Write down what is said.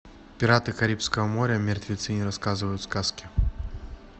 пираты карибского моря мертвецы не рассказывают сказки